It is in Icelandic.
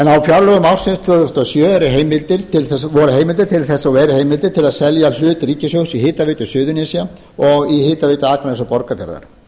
fjárlögum ársins tvö þúsund og sjö voru heimildir til þess og eru heimildir að selja hlut ríkissjóðs í hitaveitu suðurnesja og hitaveitu borgarfjarðar